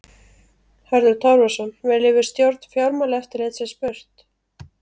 Hörður Torfason: Viljum við stjórn Fjármálaeftirlitsins burt?